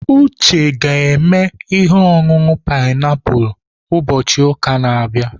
Uche ga-eme ihe ọṅụṅụ painiapulu ụbọchị ụka na-abịa.